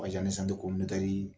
Ɔ yani